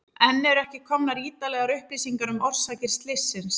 Enn eru ekki komnar ítarlegar upplýsingar um orsakir slyssins.